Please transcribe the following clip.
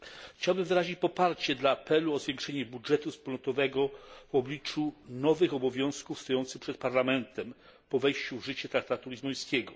Chciałbym wyrazić poparcie dla apelu o zwiększenie budżetu wspólnotowego w obliczu nowych obowiązków stojących przed Parlamentem po wejściu w życie traktatu lizbońskiego.